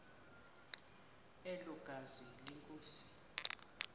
elo gazi lenkosi